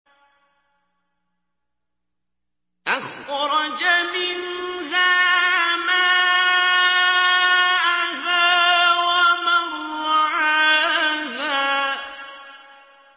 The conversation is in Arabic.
أَخْرَجَ مِنْهَا مَاءَهَا وَمَرْعَاهَا